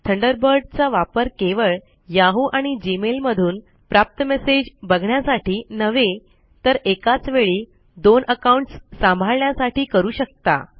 Thunderbird चा वापर केवळ याहू आणि जीमेल मधून प्राप्त मेसेज बघण्यासाठी नव्हे तर एकाच वेळी दोन अकाउन्टस सांभाळण्यासाठी करू शकता